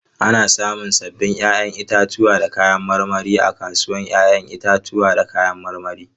Ana samun sabbin 'ya'yan itatuwa da kayan marmari a kasuwar 'ya'yan itatuwa da kayan marmari.